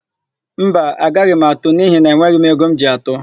Mba, agaghị m atụ n'ihi na enweghi m ego m ji atụ.